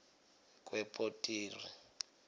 kwepitori